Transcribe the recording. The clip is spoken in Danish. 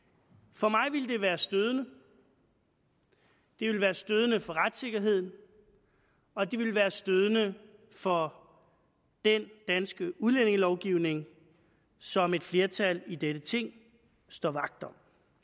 for mig ville det være stødende det ville være stødende for retssikkerheden og det ville være stødende for den danske udlændingelovgivning som et flertal i dette ting står vagt om